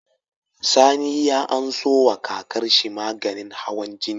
Sani ya anso wa kakar shi maganin hawan jini